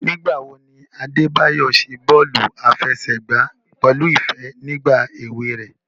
Nigbawo ni Adebayo ṣe bọọlu afẹsẹgba pẹlu ifẹ ni igba ewe rẹ?